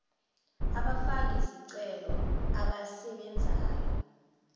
abafaki zicelo abasebenzayo